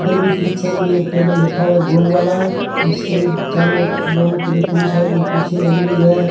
इधर भी पीछे में भी एक टेबल रखा हुआ है गोल वाला उसके भी चारों ओर दोनों तीर तीनों साइड कुर्सी लगी हुई है।